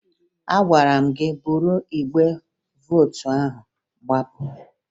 Agwara m gị buru igbe vootu ahụ gbapụ!